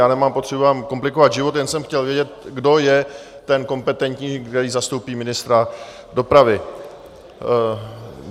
Já nemám potřebu vám komplikovat život, jen jsem chtěl vědět, kdo je ten kompetentní, který zastoupí ministra dopravy.